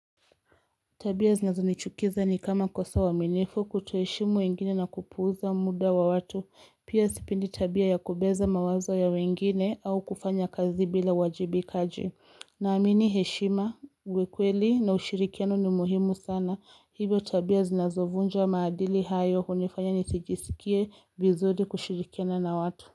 Tabia zinazonichukiza ni kama kosa uaminifu kutoheshimu wengine na kupuuza muda wa watu, pia sipendi tabia ya kubeza mawazo ya wengine au kufanya kazi bila uwajibiikaji. Naamini heshima, uwe kweli na ushirikiano ni muhimu sana. Hivyo tabia zinazovunja maadili hayo hunifanya nisijisikie vizuri kushirikiana na watu.